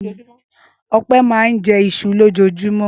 Ọpẹ́ máa ń jẹ iṣu lójoojúmọ́.